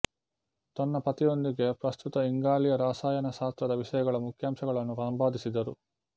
ತನ್ನ ಪತಿಯೊಂದಿಗೆ ಪ್ರಸ್ತುತ ಇಂಗಾಲೀಯ ರಸಾಯನಶಾಸ್ತ್ರದ ವಿಷಯಗಳ ಮುಖ್ಯಾಂಶಗಳನ್ನು ಸಂಪಾದಿಸಿದರು